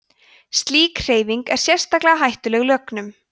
slík hreyfing er sérstaklega hættuleg lögnum